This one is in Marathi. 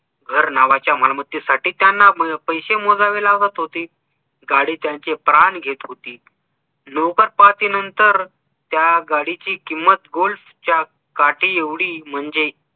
घर नावाच्या मालमत्तेसाठी त्यांना पैसे मोजावे लागत होते. गाडी त्यांचे प्राण घेत होती. नंतर त्या गाडीची किंमत golf च्या काठी एवढी म्हणजे